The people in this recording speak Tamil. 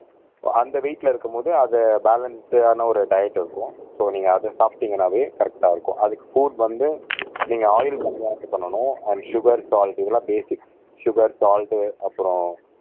சோ அந்த வெயிட்ல இருக்கும்போது அத பாலன்ஸ்ஸானா ஒரு டயட் இருக்கும் சோ நீங்க அத சாப்பிட்டீங்கன்னாவே கரெக்ட்டா இருக்கும் அதுக்கு புட் வந்து நீங்க ஆயில் கம்மியா இது பண்ணணும் அண்ட் சுகர் சால்ட் இதெல்லாம் பேசிக்ஸ் சுகர் சால்ட் அப்புறம்